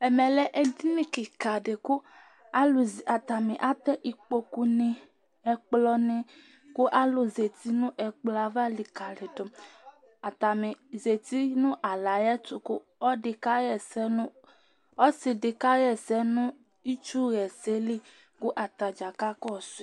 ɛmɛ lɛ edini keka di kò alo zati atani atɛ ikpoku ni ɛkplɔ ni kò alo zati no ɛkplɔ ava likali do atani zati no alɛ ayi ɛto kò ɔlo ɛdi ka ɣa ɛsɛ ɔsi di ka ɣa ɛsɛ no itsu ɣa ɛsɛ li kò atadza ka kɔsu yi